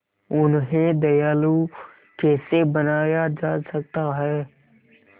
उन्हें दयालु कैसे बनाया जा सकता है